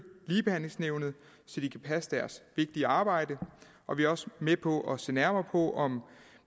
ligebehandlingsnævnet så de kan passe deres vigtige arbejde og vi er også med på at se nærmere på om